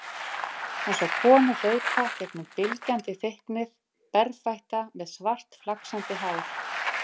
Hann sá konu hlaupa gegnum bylgjandi þykknið, berfætta með svart flaksandi hár.